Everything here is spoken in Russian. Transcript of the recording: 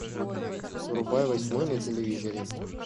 врубай восьмой на телевизоре